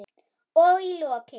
Og í lokin.